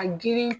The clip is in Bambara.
A girin